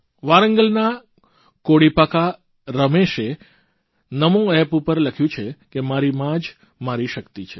વારંગલના કોડીપાકા રમેશે નમો એપ પર લખ્યું છે કે મારી મા જ મારી શક્તિ છે